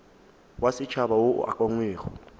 wa setšhaba wo o ukangwego